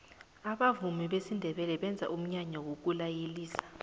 abavumi besindebele benza umnyanya wokulayelisa